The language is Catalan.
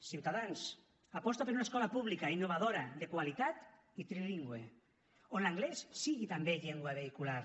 ciutadans aposta per una escola pública innovadora de qualitat i trilingüe on l’anglès sigui també llengua vehicular